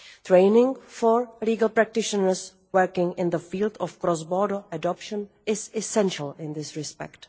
Training for legal practitioners working in the field of cross border adoption is essential in this respect.